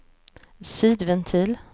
sidventil